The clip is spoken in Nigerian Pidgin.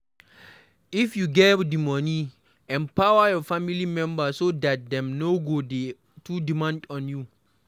If you get di money, empower your family members so dat dem no go dey too demand on you